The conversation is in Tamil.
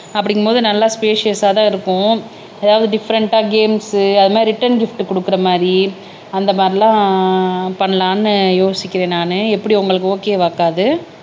அப்படிங்குபோது நல்லா ஸ்பைஸியஸ் ஆதான் இருக்கும் ஏதாவது டிபரெண்ட்டா கேம்ஸ்ஸு அது மாதிரி ரிட்டர்ன் கிப்ட் கொடுக்கிற மாதிரி அந்த மாதிரி எல்லாம் பண்ணலான்னு யோசிக்கிறேன் நானு எப்படி உங்களுக்கு ஓகே வாக்கா இது